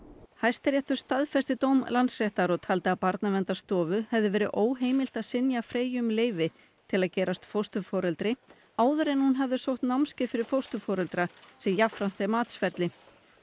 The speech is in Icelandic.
Hæstiréttur staðfesti dóm Landsréttar og taldi að Barnaverndarstofu hefði verið óheimilt að synja Freyju um leyfi til að gerast fósturforeldri áður en hún hafði sótt námskeið fyrir fósturforeldra sem jafnframt er matsferli